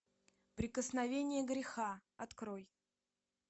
прикосновение греха открой